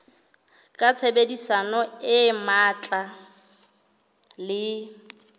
ka tshebedisano e matla le